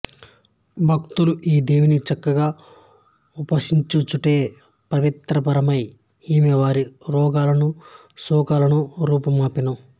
భక్తులు ఈ దేవిని చక్కగా ఉపాసించుటచే పరితృప్తయై ఈమె వారి రోగములను శోకములను రూపుమాపును